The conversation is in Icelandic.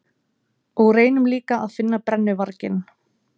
Og reynum líka að finna brennuvarginn.